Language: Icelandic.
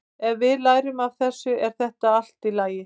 Ef við lærum af þessu er þetta allt í lagi.